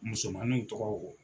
Musomanninw tɔgɔ o